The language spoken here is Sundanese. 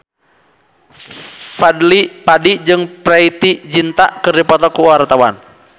Fadly Padi jeung Preity Zinta keur dipoto ku wartawan